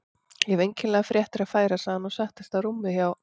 Ég hef einkennilegar fréttir að færa sagði hann og settist á rúmið hjá